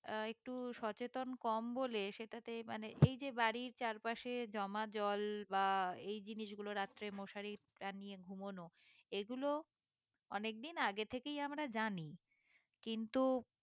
আহ একটু সচেতন কম বলে সেটাতেই মানে এই যে বাড়ির চারপাশে জমা জল বা এই জিনিসগুলো রাত্রে মশারি টাঙিয়ে ঘুমানো এইগুলো অনেকদিন আগের থেকেই আমরা জানি কিন্তু